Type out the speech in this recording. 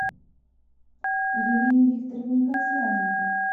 елене викторовне касьяненко